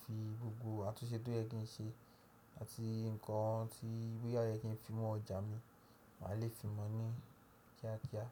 fi gbogbo àtúnṣe tó yẹ kí n ṣe àti nǹkan tí boya k yẹ kí n fi mọ́ ọjà mi, màá lè fi mọ̀ ọ́n ní kíákíá.